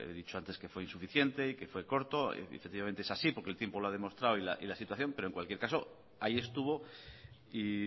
dicho antes que fue insuficiente y que fue corto y efectivamente es así porque el tiempo lo ha demostrado y la situación pero en cualquier caso ahí estuvo y